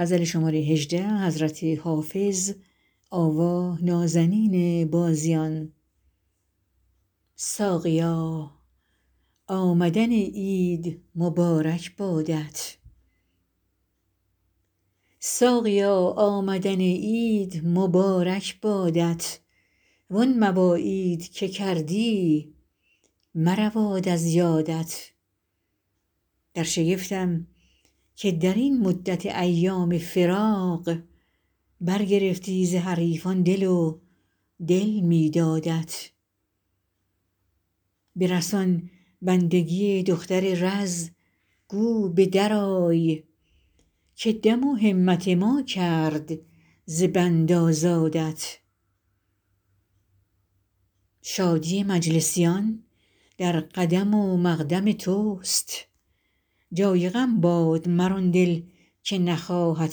ساقیا آمدن عید مبارک بادت وان مواعید که کردی مرود از یادت در شگفتم که در این مدت ایام فراق برگرفتی ز حریفان دل و دل می دادت برسان بندگی دختر رز گو به درآی که دم و همت ما کرد ز بند آزادت شادی مجلسیان در قدم و مقدم توست جای غم باد مر آن دل که نخواهد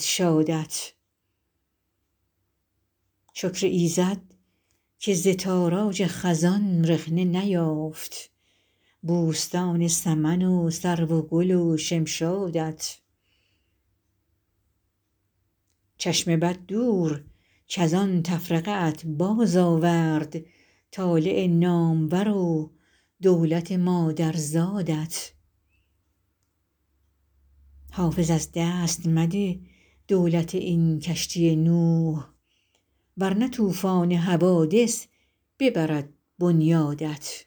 شادت شکر ایزد که ز تاراج خزان رخنه نیافت بوستان سمن و سرو و گل و شمشادت چشم بد دور کز آن تفرقه ات بازآورد طالع نامور و دولت مادرزادت حافظ از دست مده دولت این کشتی نوح ور نه طوفان حوادث ببرد بنیادت